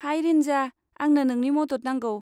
High Rinja, आंनो नोंनि मदद नांगौ।